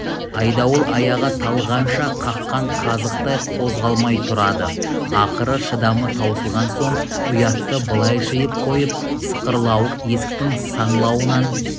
айдауыл аяғы талғанша қаққан қазықтай қозғалмай тұрады ақыры шыдамы таусылған соң ұятты былай жиып қойып сықырлауық есіктің саңылауынан